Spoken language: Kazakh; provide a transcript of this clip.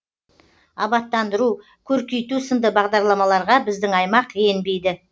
абаттандыру көркейту сынды бағдарламаларға біздің аймақ енбейді